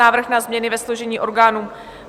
Návrh na změny ve složení orgánů